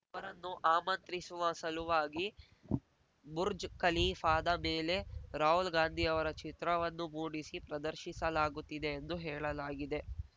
ಅವರನ್ನು ಆಮಂತ್ರಿಸುವ ಸಲುವಾಗಿ ಬುರ್ಜ್ ಕಲೀಫಾದ ಮೇಲೆ ರಾಹುಲ್‌ ಗಾಂದಿಯವರ ಚಿತ್ರವನ್ನು ಮೂಡಿಸಿ ಪ್ರದರ್ಶಿಸಲಾಗುತ್ತಿದೆ ಎಂದು ಹೇಳಲಾಗಿದೆ